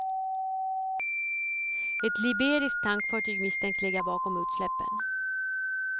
Ett liberiskt tankfartyg misstänks ligga bakom utsläppen.